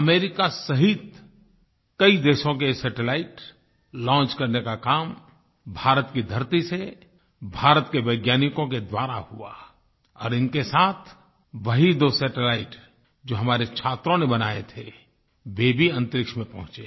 America सहित कई देशों के सैटेलाइट लॉन्च करने का काम भारत की धरती से भारत के वैज्ञानिकों के द्वारा हुआ और इनके साथ वही दो सैटेलाइट जो हमारे छात्रों ने बनाये थे वे भी अन्तरिक्ष में पहुँचे